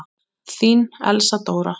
Þín Elsa Dóra.